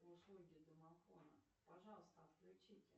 услуги домофона пожалуйста отключите